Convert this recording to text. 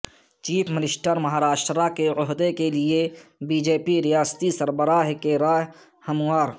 chief minister Maharashtra کے عہدہ کے لیے بی جے پی ریاستی سربراہ کی راہ ہموار